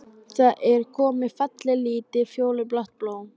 Það er komið fallegt, lítið, fjólublátt blóm.